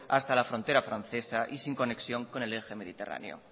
hasta la frontera francesa y sin conexión con el eje mediterráneo